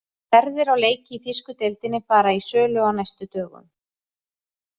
Ferðir á leiki í þýsku deildinni fara í sölu á næstu dögum.